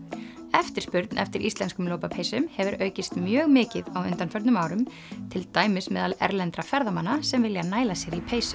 eftirspurn eftir íslenskum lopapeysum hefur aukist mjög mikið á undanförnum árum til dæmis meðal erlendra ferðamanna sem vilja næla sér í peysu